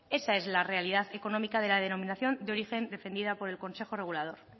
esa es la realidad económica de la denominación de origen defendida por el consejo regulador